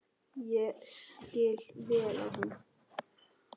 Ég skil vel að hún.